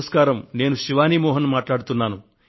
నేనండి శివానీ మోహన్ ను మాట్లాడుతున్నాను